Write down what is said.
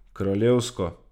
Kraljevsko ...